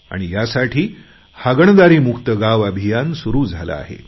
आणि यासाठी हागणदारी मुक्त गाव अभियान सुरु झाले आहे